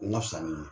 Na fisa ni